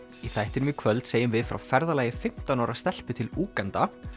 í þættinum í kvöld segjum við frá ferðalagi fimmtán ára stelpu til Úganda